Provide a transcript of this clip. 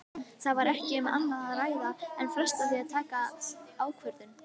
Það var ekki um annað að ræða en fresta því að taka ákvörðun.